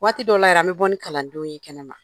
Waati dɔ la yɛrɛ an bɛ bɔ ni kalandenw ye kɛnɛ ma.